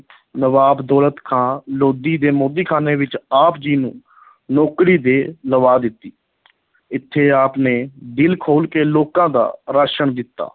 ਨਵਾਬ ਦੌਲਤ ਖਾਂ ਲੋਧੀ ਦੇ ਮੋਦੀਖਾਨੇ ਵਿੱਚ ਆਪ ਜੀ ਨੂੰ ਨੌਕਰੀ ਦੇ ਲਵਾ ਦਿੱਤੀ ਇੱਥੇ ਆਪ ਨੇ ਦਿਲ ਖੋਲ੍ਹ ਕੇ ਲੋਕਾਂ ਦਾ ਰਾਸ਼ਨ ਦਿੱਤਾ।